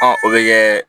o bɛ kɛ